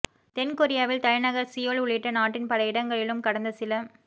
தென் கொரியாவில் தலைநகர் சீயோல் உள்ளிட்ட நாட்டின் பல இடங்களிலும் கடந்த சில